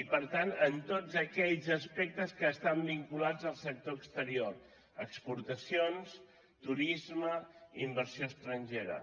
i per tant en tots aquells aspectes que estan vinculats al sector exterior exportacions turisme inversió estrangera